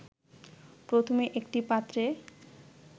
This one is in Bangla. প্রথমে একটি পাত্রে